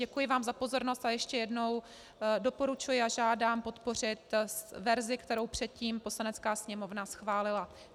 Děkuji vám za pozornost a ještě jednou doporučuji a žádám podpořit verzi, kterou předtím Poslanecká sněmovna schválila.